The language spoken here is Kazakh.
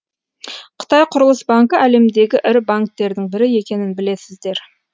қытай құрылыс банкі әлемдегі ірі банктердің бірі екенін білесіздер